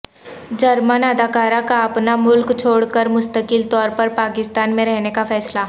German اداکارہ کااپنا ملک چھوڑ کر مستقل طورپر پاکستان میں رہنے کا فیصلہ